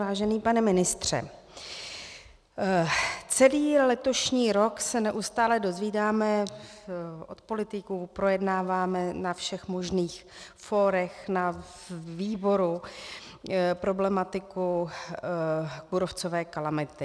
Vážený pane ministře, celý letošní rok se neustále dozvídáme od politiků, projednáváme na všech možných fórech, na výboru, problematiku kůrovcové kalamity.